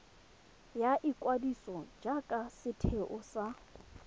ya ikwadiso jaaka setheo sa